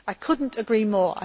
I could not agree more.